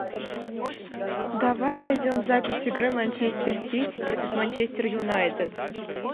давай найдем запись игры манчестер сити против манчестер юнайтед